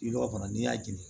I b'o kɔnɔ n'i y'a jigin